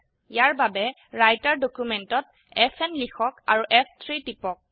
ইয়াৰ বাবে ৰাইটাৰ ডকিউমেন্টত এফএন লিখক আৰু ফ3 টিপক